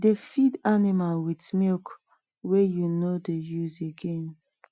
dey feed animal with milk wey you no dey use again